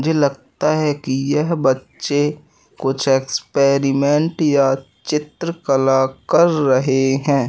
मुझे लगता है कि यह बच्चे कुछ एक्सपेरिमेंट या चित्रकला कर रहे हैं।